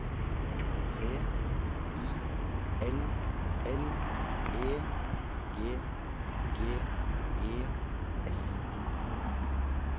T I L L E G G E S